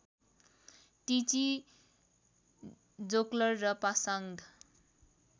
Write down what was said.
टिची जोक्लर र पासाङ्ग